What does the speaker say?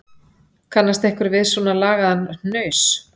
Kannast einhver við svona lagaðan hnaus